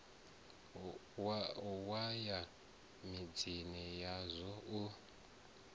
wa ya midzini yazwo u